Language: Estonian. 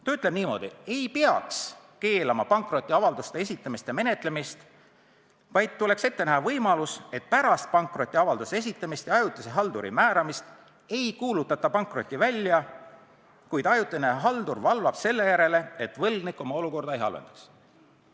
Ta ütleb niimoodi: "Ei peaks keelama pankrotiavalduste esitamist ja menetlemist, vaid tuleks ette näha võimalus, et pärast pankrotiavalduse esitamist ja ajutise halduri määramist ei kuulutata pankrotti välja, kuid ajutine haldur valvab selle järele, et võlgnik oma olukorda ei halvendaks.